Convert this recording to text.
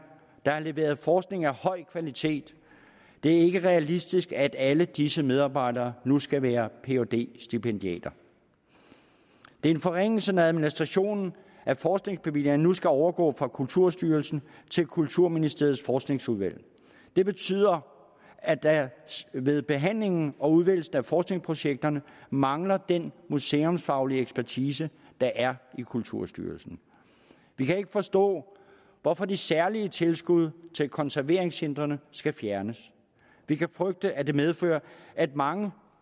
der har leveret forskning af høj kvalitet det er ikke realistisk at alle disse medarbejdere nu skal være phd stipendiater det er en forringelse når administrationen af forskningsbevillingerne nu skal overgå fra kulturstyrelsen til kulturministeriets forskningsudvalg det betyder at der ved behandlingen og udvælgelsen af forskningsprojekter mangler den museumsfaglige ekspertise der er i kulturstyrelsen vi kan ikke forstå hvorfor de særlige tilskud til konserveringscentrene skal fjernes vi kan frygte at det medfører at mange